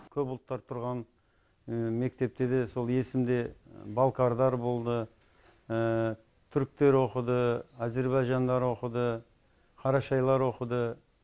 көп ұлттар тұрған мектепте де сол есімде балкарлар болды түріктер оқыды әзербайжандар оқыды қарашайлар оқыды